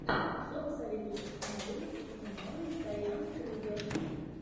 что посоветуешь из кинолент где снималась дайан крюгер